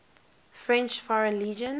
french foreign legion